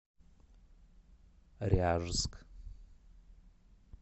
ряжск